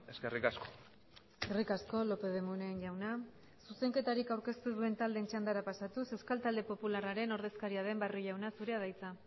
eskerrik asko eskerrik asko lópez de munain jauna zuzenketarik aurkeztu ez duen taldeen txandara pasatuz euskal talde popularraren ordezkaria den barrio jauna zurea da hitza